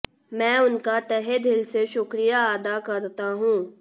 मैं उनका तहे दिल से शुक्रिया अदा करता हूं